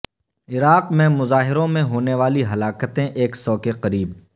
عراق میں مظاہروں میں ہونے والی ہلاکتیں ایک سو کے قریب